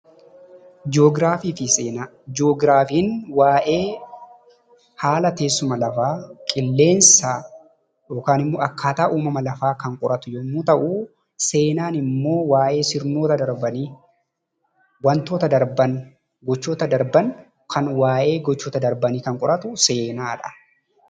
Ji'oogiraafii fi Seenaa: Ji'oogiraafiin waa'ee haala teessuma lafaa, haala qilleensaa yookaan immoo akkaataa uumama lafaa kan qoratu yoo ta’u, seenaan immoo waa'ee sirnoota darbanii, wantoota darban, kan waa'ee gochoota darbanii kan qoratu seenaadha.